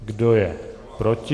Kdo je proti?